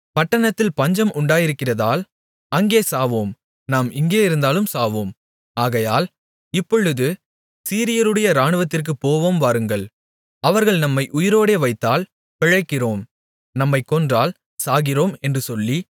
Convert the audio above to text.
பட்டணத்திற்குள் போவோமென்றாலும் பட்டணத்தில் பஞ்சம் உண்டாயிருக்கிறதால் அங்கே சாவோம் நாம் இங்கே இருந்தாலும் சாவோம் ஆகையால் இப்பொழுது சீரியருடைய இராணுவத்திற்குப் போவோம் வாருங்கள் அவர்கள் நம்மை உயிரோடே வைத்தால் பிழைக்கிறோம் நம்மைக் கொன்றால் சாகிறோம் என்று சொல்லி